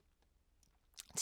TV 2